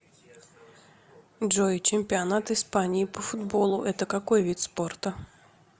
джой чемпионат испании по футболу это какой вид спорта